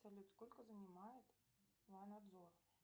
салют сколько занимает мой надзор